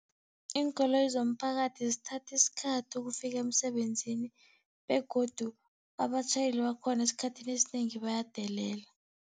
Iinkoloyi zomphakathi zithatha isikhathi ukufika emsebenzini begodu abatjhayeli bakhona, esikhathini esinengi bayadelela.